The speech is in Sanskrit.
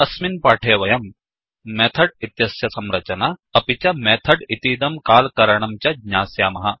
अस्मिन् पाठे वयम् मेथड् इत्यस्य संरचना अपि च मेथड् इतीदम् काल् करणम् च ज्ञास्यामः